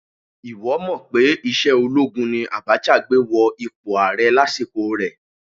Ìwọ́ mọ̀ pé ìṣe olóogun ni Abacha gbé wọ ipò ààrẹ lásìkò rẹ̀?